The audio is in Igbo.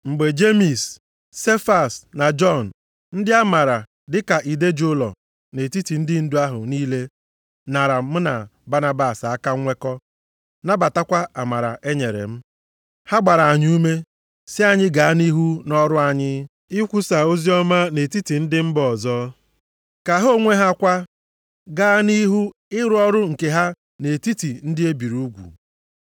Mgbe Jemis, Sefas na Jọn ndị a maara dị ka ide ji ụlọ nʼetiti ndị ndu ahụ niile nara m na Banabas aka nnwekọ, nabatakwa amara e nyere m. Ha gbara anyị ume, sị anyị gaa nʼihu nʼọrụ anyị, ikwusa oziọma nʼetiti ndị mba ọzọ, ka ha onwe ha kwa gaa nʼihu ịrụ ọrụ nke ha nʼetiti ndị e biri ugwu.